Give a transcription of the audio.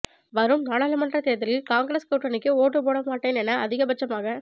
வரும் நாடாளுமன்றத் தேர்தலில் காங்கிரஸ் கூட்டணிக்கு ஓட்டுப் போடமாட்டேன் என அதிகபட்சமாக